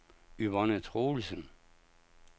Yvonne Troelsen